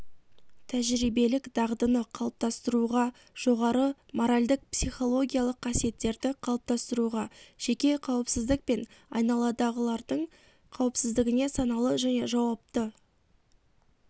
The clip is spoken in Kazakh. тәжербиелік дағдыны қалыптастыруға жоғары моральдық-психологиялық қасиеттерді қалыптасыруға жеке қауіпсіздік пен айналадағылардың қауіпсіздігіне саналы және жауапты